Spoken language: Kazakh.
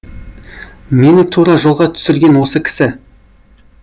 мені тура жолға түсірген осы кісі